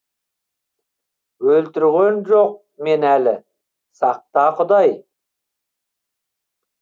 өлтірген жоқ мені әлі сақта құдай